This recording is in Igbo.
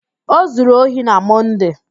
O zuru ohi na Mọnde.